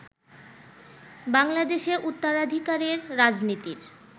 বাংলাদেশে উত্তরাধিকারের রাজনীতির